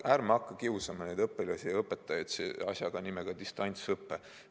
Ärme hakka neid õpilasi ja õpetajaid kiusama asjaga, mille nimi on distantsõpe.